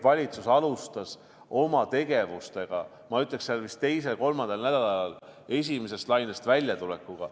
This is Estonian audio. Valitsus alustas oma tegevustega, ma ütleksin, vist teisel-kolmandal nädalal, et esimesest lainest välja tulla.